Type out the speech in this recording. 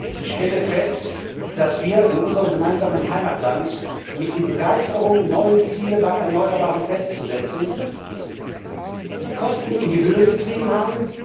Ich stelle fest, dass wir in unserem gemeinsamen Heimatland mit der Begeisterung, neue Ziele bei Erneuerbaren festzusetzen, die Kosten in die Höhe getrieben haben.